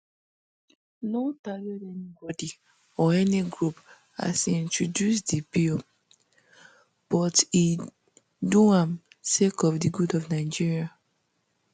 no target anybodi or any group as e introduce di bill um but e do am sake of di good of nigeria